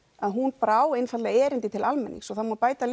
hún á erindi til almennings og það má bæta